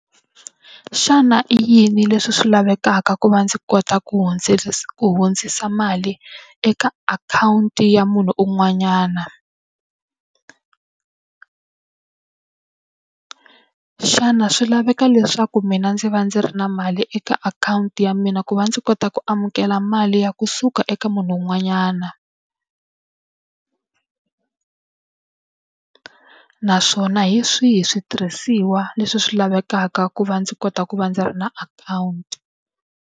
Xana i yini leswi swi lavekaka ku va ndzi kota ku hundzisa mali eka akhawunti ya munhu un'wanyana? xana swi laveka leswaku mina ndzi va ndzi ri na mali eka akhawunti ya mina ku va ndzi kota ku amukela mali ya kusuka eka munhu un'wanyana? naswona hi swihi switirhisiwa leswi swi lavekaka ku va ndzi kota ku va ndzi ri na akhawunti?